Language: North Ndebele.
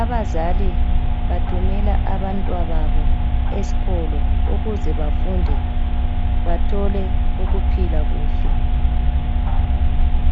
.Abazali bathumela abantwababo eskolo ukuze bafunde bathole ukuphila kuhle.